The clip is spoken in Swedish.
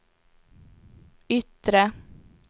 yttre